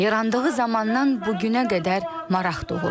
Yarandığı zamandan bu günə qədər maraq doğurdu.